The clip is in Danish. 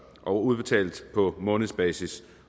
og udbetalt på månedsbasis